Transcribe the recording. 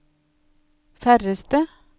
færreste